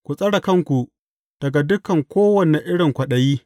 Ku tsare kanku daga dukan kowane irin kwaɗayi.